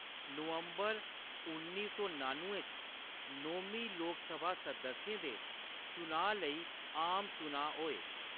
नवंबर उन्नी सौ नान्नुएं च, नौमीं लोकसभा सदस्यें दे चुनांऽ लेई आम चुनांऽ होए।